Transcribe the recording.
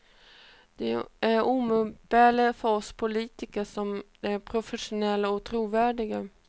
Den är oumbärlig för oss politiker, om den är professionell och trovärdig.